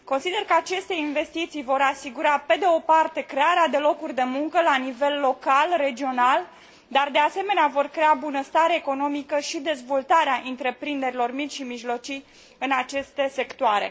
Consider că aceste investiții vor asigura, pe de o parte, crearea de locuri de muncă la nivel local, regional și, de asemenea, vor crea bunăstare economică și dezvoltarea întreprinderilor mici și mijlocii în aceste sectoare.